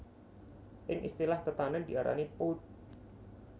Ing istilah tetanèn diarani pulp